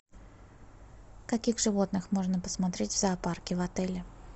каких животных можно посмотреть в зоопарке в отеле